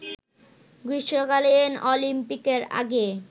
গ্রীষ্মকালীন অলিম্পিকের আগে